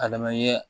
A lamɛnni ye